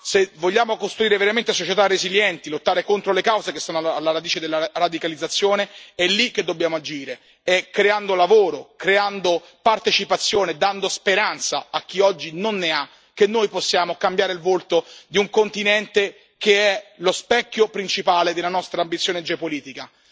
Se vogliamo costruire veramente società resilienti e lottare contro le cause che sono alla radice della radicalizzazione, è lì che dobbiamo agire, è creando lavoro, creando partecipazione, dando speranza a chi oggi non ne ha che noi possiamo cambiare il volto di un continente che è lo specchio principale della nostra ambizione geopolitica.